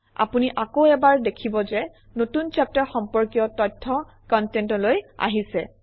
আপুনি আকৌ এবাৰ দেখিব যে নতুন চেপ্টাৰ সম্পৰ্কীয় তথ্য কনটেণ্টলৈ আহিছে